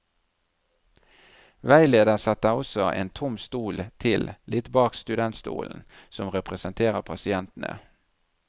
Veileder setter også en tom stol til litt bak studentstolen, som representerer pasientene.